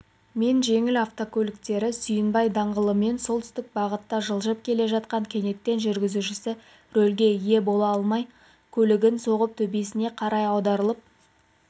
мен жеңіл автокөліктері сүйінбай даңғылымен солтүстік бағытта жылжып келе жатқан кенеттен жүргізушісі рөлге ие бола алмай көлігін соғып төбесіне қарай аударылып